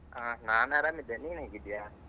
ಹಾ ನಾನ್ ಅರಾಮಿದ್ದೇನೆ. ನೀನ್ ಹೇಗಿದ್ದೀಯ?